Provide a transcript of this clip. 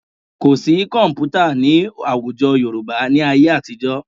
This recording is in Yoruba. Kò sí kọ̀m̀pútà ní àwùjọ Yorùbá ní ayé àtijọ́